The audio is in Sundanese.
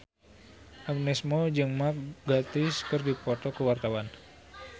Agnes Mo jeung Mark Gatiss keur dipoto ku wartawan